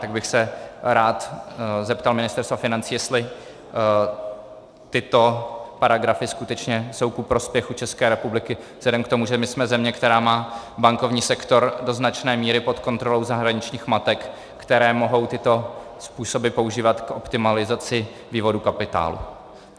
Tak bych se rád zeptal Ministerstva financí, jestli tyto paragrafy skutečně jsou ku prospěchu České republiky vzhledem k tomu, že my jsme země, která má bankovní sektor do značné míry pod kontrolou zahraničních matek, které mohou tyto způsoby používat k optimalizaci vývodu kapitálu.